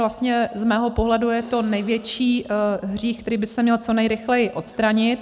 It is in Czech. vlastně z mého pohledu je to největší hřích, který by se měl co nejrychleji odstranit.